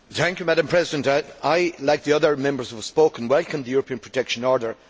Madam President, I like the other Members who have spoken welcome the European protection order.